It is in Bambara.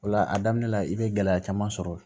O la a daminɛ la i bɛ gɛlɛya caman sɔrɔ